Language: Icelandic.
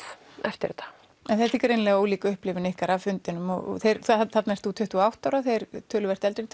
eftir þetta en þetta er greinilega mjög ólík upplifun ykkar af fundinum þarna ertu tuttugu og átta ára þeir töluvert eldri